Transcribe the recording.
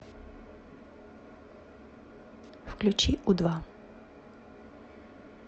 включи у два